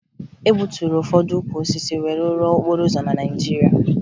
E gbuturu ụfọdụ ukwu osisi wee rụọ okporo ụzọ na Naịjirịa